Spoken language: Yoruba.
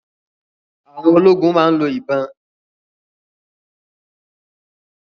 Àwọn ológun máa ń lo ìbọn